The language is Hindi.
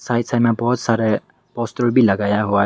साइड साइड में बहोत सारा पोस्टर भी लगाया हुआ है।